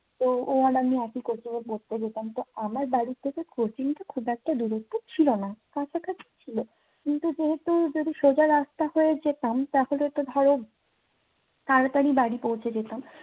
তো ও আর আমি একই coaching এ পড়তে যেতাম। তো আমার বাড়ি থেকে coaching টা খুব একটা দূরত্ব ছিলনা। কাছাকাছি ছিল। কিন্তু যেহেতু যদি সোজা রাস্তা হয়ে যেতাম তাহলে তো ধরো তাড়াতাড়ি বাড়ি পৌঁছে যেতাম।